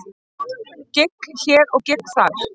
Gigg hér og gigg þar.